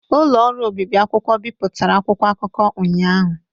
Ụlọ ọrụ obibi akwụkwọ bipụtara akwụkwọ akụkọ ụnyahụ.